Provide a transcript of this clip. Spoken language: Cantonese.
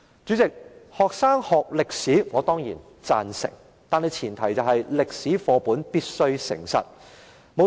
主席，我當然贊成學生要學習歷史，但前提是歷史課本必須誠實。